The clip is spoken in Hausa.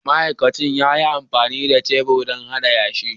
Ma'aikacin ya yi amfani da shebur don hada yashi.